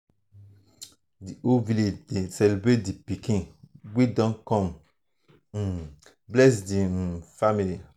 the whole village dey celebrate the pikin wey don come um bless the um family.